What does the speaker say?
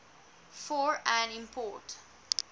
for an import